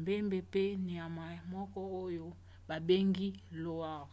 mbembe pe nyama moko oyo babengi loir